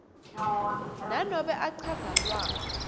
nanobe achaza lwati